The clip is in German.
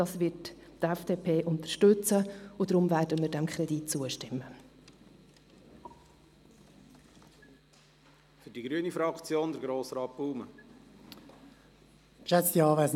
Dies wird die FDP unterstützen, und deshalb werden wir diesem Kredit zustimmen.